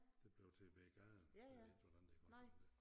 Det blev til Ved Gaden jeg ved ikke hvordan det er gået til med det